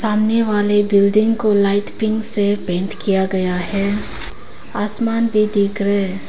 सामने वाले बिल्डिंग को लाइट पिंक से पेंट किया गया है आसमान भी दिख रहे--